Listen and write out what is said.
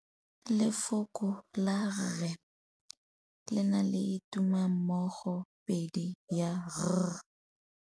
Lefoko la rre le na le tumammogôpedi ya, r.